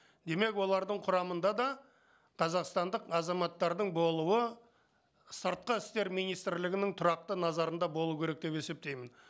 демек олардың құрамында да қазақстандық азаматтардың болуы сыртқы істер министрлігінің тұрақты назарында болу керек деп есептеймін